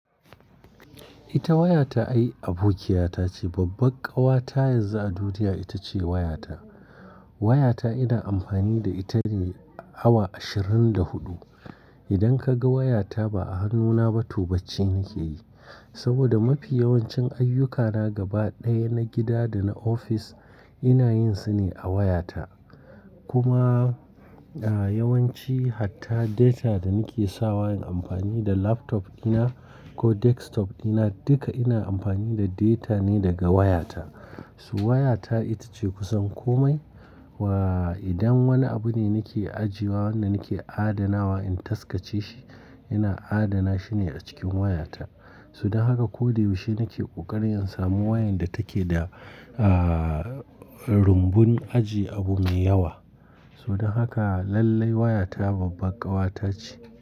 Ita waya ta ai abokiyata ce. Babbar ƙawa ta yanzu a duniya ita ce waya ta. Waya ta ina amfani da ita ne awa ashirin da huɗu. Idan ka ga waya ta ba a hannuna ba, to bacci nake yi. Saboda mafi yawancin ayyukana gaba ɗaya na gida da na ofis ina yin su ne a wayata. Kuma, a, yawanci hatta data da nake sawa yin amfani da laptop dina ko desktop dina duka ina amfani da data ne daga wayata. So! Waya ta ita ce kusan komai. Wa idan wani abu ne nake ajiye wa wanda nake adana wa in taskace shi, ina adana shi ne a cikin wayata. Saboda haka ko da yaushe nake ƙoƙarin samun wayar da take da, a, rumbun aji abu mai yawa. Saboda haka lallai wayata babbar ƙawa ta ce.